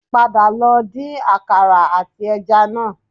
Padà lọ din àkàrà àti ẹja náà